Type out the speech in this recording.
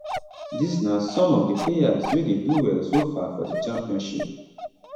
dis na some of di players wey dey do well so far for di championship